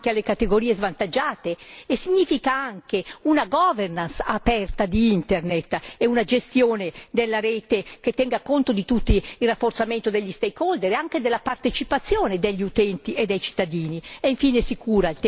Significa accessibilità anche alle categorie svantaggiate e significa anche una governance aperta di Internet e una gestione della rete che tenga conto di tutti, il rafforzamento degli stakeholder e anche della partecipazione degli utenti e dei cittadini.